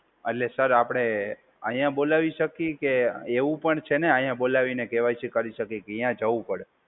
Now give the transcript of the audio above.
એટલે સર આપડે અહીંયા બોલાવી શકીએ કે એવું પણ છે ને? અહીંયા બોલાવીને કે વાય સી કરી શકીએ કે ત્યાં જવું પડે?